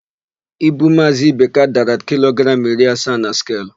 Ibu Maazị Ibeka dara kilogramụ iri asaa na skelu.